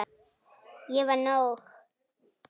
Ég var nóg.